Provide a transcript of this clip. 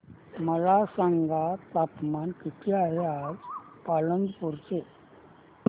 मला सांगा तापमान किती आहे आज पालांदूर चे